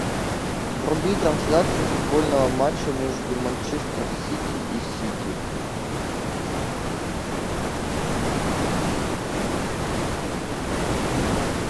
вруби трансляцию футбольного матча между манчестер сити и сити